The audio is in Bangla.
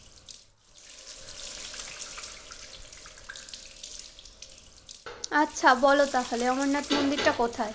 আচ্ছা বল তাহলে অমরনাথ মন্দিরটা কোথায়?